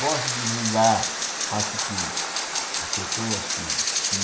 Gosto de divulgar, acho que as pessoas que que me